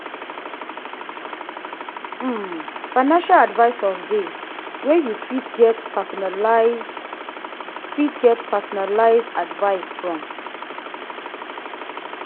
um financial advisors de wey you fit get personalised fit get personalised advice from